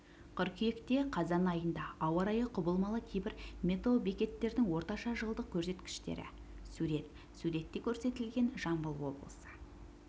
қыркүйекте қазан айында ауа райы құбылмалы кейбір метеобекеттердің орташа жылдық көрсеткіштері сурет суретте көрсетілген жамбыл облысы